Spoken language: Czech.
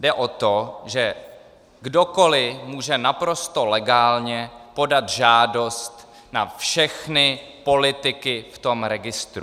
Jde o to, že kdokoli může naprosto legálně podat žádost na všechny politiky v tom registru.